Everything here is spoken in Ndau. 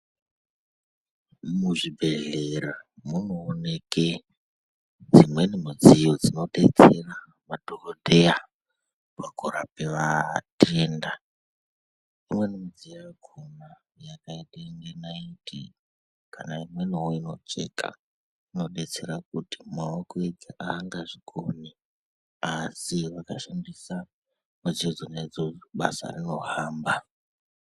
Muzvibhehlera munookwe dzimweni midziyo dzinodetsera madhokodheya pakurapa vatenda imweni midziyo yakona yakaite kunge naiti kana imweniwo inocheka inodetsera kuti maaoko ega angazvikoni asi vakashandisa midziyo dzona idzodzo basa rinohamba.